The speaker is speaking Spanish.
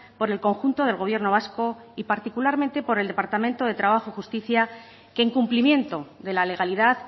por el conjunto del gobierno vasco y particularmente por el departamento de trabajo y justicia que en cumplimiento de la legalidad